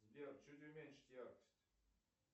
сбер чуть уменьшить яркость